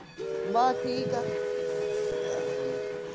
ਬੱਸ ਠੀਕ ਆ